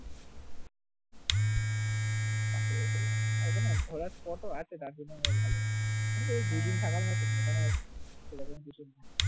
হবে না ঘোরার টোটো আছে তার জন্য বেশ ভালো নইলে এক দু দিন থাকার মতো সুন্দরবন ভীষণ ভালো